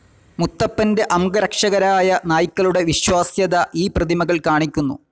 മുത്തപ്പൻ്റെ അംഗരക്ഷകരായ നായ്ക്കളുടെ വിശ്വാസ്യത ഈ പ്രതിമകൾ കാണിക്കുന്നു.